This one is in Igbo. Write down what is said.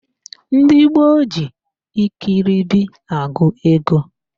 Ndị gboo ji ikiribi agụ ego